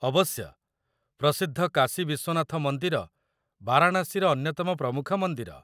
ଅବଶ୍ୟ। ପ୍ରସିଦ୍ଧ କାଶୀ ବିଶ୍ୱନାଥ ମନ୍ଦିର ବାରାଣାସୀର ଅନ୍ୟତମ ପ୍ରମୁଖ ମନ୍ଦିର।